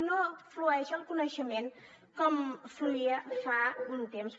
no flueix el coneixement com fluïa fa un temps